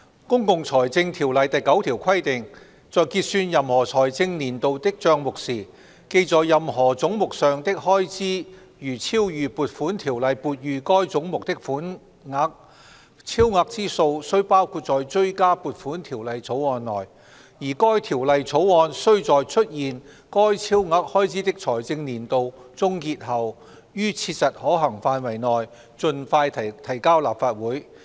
《公共財政條例》第9條規定："在結算任何財政年度的帳目時，記在任何總目上的開支如超逾撥款條例撥予該總目的款額，超額之數須包括在追加撥款條例草案內，而該條例草案須在出現該超額開支的財政年度終結後，於切實可行範圍內盡快提交立法會。